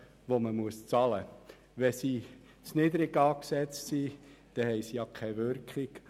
Sind die Löhne zu niedrig angesetzt, haben sie keine Wirkung.